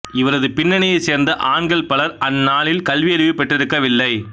இவரது பின்னணியைச் சேர்ந்த ஆண்கள் பலர் அந்நாளில் கல்வியறிவு பெற்றிருக்கவில்லை